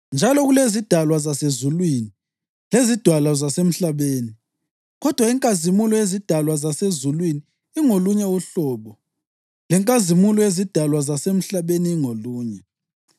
Njalo kulezidalwa zasezulwini lezidalwa zasemhlabeni; kodwa inkazimulo yezidalwa zasezulwini ingolunye uhlobo, lenkazimulo yezidalwa zasemhlabeni ingolunye.